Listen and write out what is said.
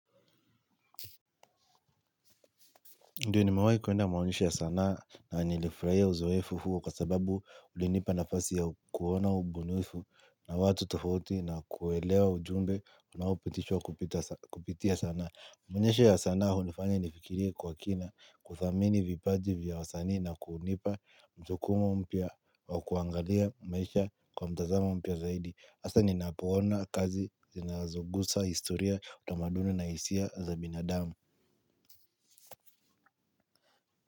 Ndiyo nimewahi kuenda maonyesho ya sanaa na nilifurahia uzoefu huwa kwa sababu ulinipa nafasi ya kuona ubunifu na watu tofauti na kuelewa ujumbe unaopitishwa kupitia sanaa. Mionyesho ya sana hunifanya nifikiria kwa kina, kuthamini vipaji vya wasani na kunipa mjukumu mpya wa kuangalia maisha kwa mtazama mpya zaidi. Hasa ninapoona kazi zinazogusa historia utamaduni na hisia za binadamu.